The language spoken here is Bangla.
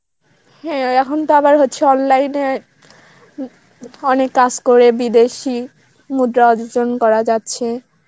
হ্যাঁ এখন তো আবার হচ্ছে online এ অনেক কাজ করে বিদেশী মুদ্রা অর্জন করা যাচ্ছে